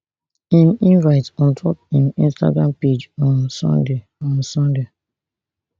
im invite ontop im instagram page on sunday on sunday